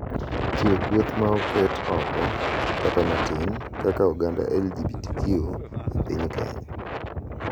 Chiwo kweth ma oket oko kata matin—kaka oganda LGBTQ+ e piny Kenya—